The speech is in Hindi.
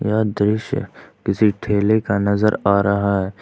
यह दृश्य किसी ठेले का नजर आ रहा है।